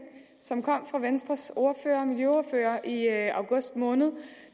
som kom fra venstres miljøordfører i august måned